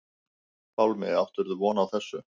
Pálmi: Áttirðu von á þessu?